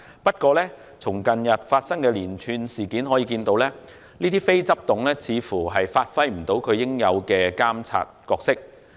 不過，從近日發生的連串事件可見，這些非執行董事似乎未能發揮他們應有的監察角色。